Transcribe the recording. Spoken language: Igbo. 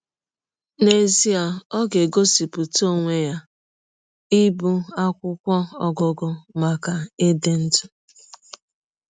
N’ezie ọ ga - egosipụta ọnwe ya ịbụ akwụkwọ ọgụgụ maka ịdị ndụ!